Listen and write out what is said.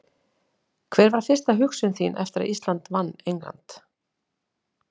Hver var fyrsta hugsun þín eftir að Ísland vann England?